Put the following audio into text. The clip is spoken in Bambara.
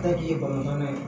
Taji ye bamanan ye